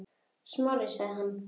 Smári- sagði hann.